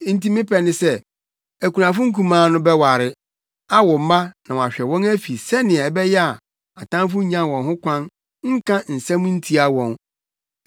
Enti me pɛ ne sɛ, akunafo nkumaa no bɛware, awo mma na wɔahwɛ wɔn afi sɛnea ɛbɛyɛ a atamfo nnya wɔn ho kwan nka nsɛm ntia wɔn.